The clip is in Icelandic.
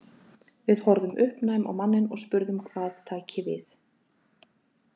Við horfðum uppnæm á manninn og spurðum hvað tæki við.